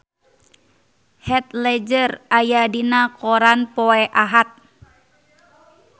Heath Ledger aya dina koran poe Ahad